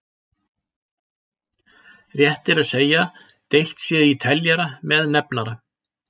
Rétt er að segja deilt sé í teljara með nefnara.